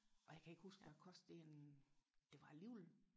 og jeg kan ikke huske hvad kostede det det var alligevel